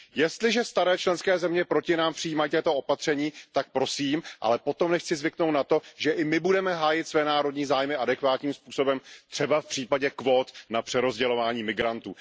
Jestliže staré členské země proti nám přijímají tato opatření, tak prosím, ale potom nechť si zvyknou na to, že i my budeme hájit své národní zájmy adekvátním způsobem, třeba v případě kvót na přerozdělování migrantů.